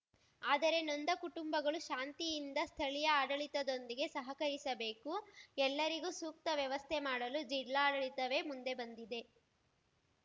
ಆದರೆ ನೊಂದ ಕುಟುಂಬಗಳು ಶಾಂತಿಯಿಂದ ಸ್ಥಳೀಯ ಆಡಳಿತದೊಂದಿಗೆ ಸಹಕರಿಸಬೇಕು ಎಲ್ಲರಿಗೂ ಸೂಕ್ತ ವ್ಯವಸ್ಥೆ ಮಾಡಲು ಜಿಲ್ಲಾಡಳಿತವೇ ಮುಂದೆ ಬಂದಿದೆ